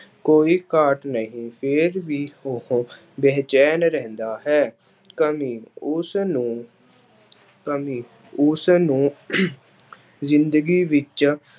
ਕੋਈ ਘਾਟ ਨਹੀਂ ਫਿਰ ਵੀ ਉਹ ਬੇਚੈਨ ਰਹਿੰਦਾ ਹੈ, ਕਮੀ ਉਸ ਨੂੰ ਕਮੀ ਉਸਨੂੰ ਜ਼ਿੰਦਗੀ ਵਿੱਚ